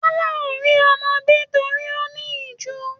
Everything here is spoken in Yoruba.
Tọlá ò rí ọmọ bí nítorí ó ní ìjú.